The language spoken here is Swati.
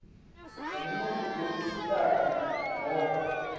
umuntfu lomsikati nobe